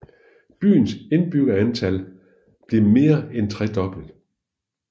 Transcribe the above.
Byens indbyggertal blev mere end tredoblet